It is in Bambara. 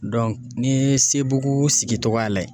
n'i ye sebugu sigi togoya lajɛ